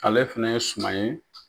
Ale fɛnɛ ye suman ye.